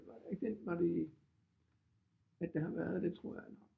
Det var da ikke den var det at der har været det tror jeg